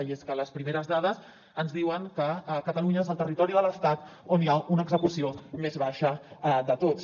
i és que les primeres dades ens diuen que catalunya és el territori de l’estat on hi ha una execució més baixa de tots